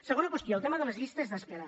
segona qüestió el tema de les llistes d’espera